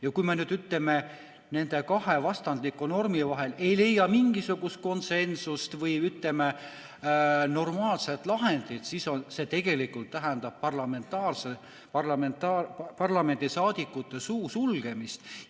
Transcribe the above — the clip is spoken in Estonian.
Ja kui me nüüd, ütleme, nende kahe vastandliku normi vahel ei leia mingisugust konsensust või normaalset lahendit, siis see tegelikult tähendab parlamendiliikmete suu sulgemist.